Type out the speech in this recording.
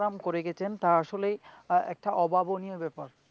আহ একটা অভাবনীয় ব্যাপার.